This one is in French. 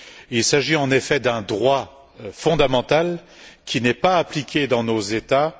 Il s'agit en effet d'un droit fondamental qui n'est pas appliqué dans nos États.